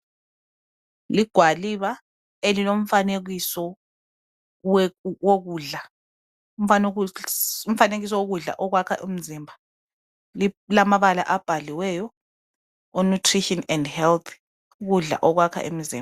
Ligwaliba elilomfanekiso we wokudla umfanekiso wokudla okwakha umzimba lilamabala abhaliweyo o(Nutrition and Health)ukudla okwakha imzimba.